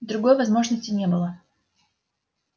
другой возможности не было